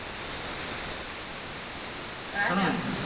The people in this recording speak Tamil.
ராஜா